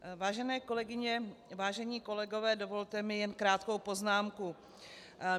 Vážené kolegyně, vážení kolegové, dovolte mi jen krátkou poznámku.